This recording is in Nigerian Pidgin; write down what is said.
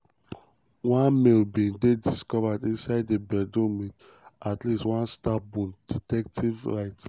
one male bin dey discovered inside di bedroom with at least one stab wound" detectives write.